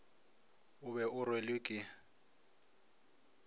o be o rwelwe ke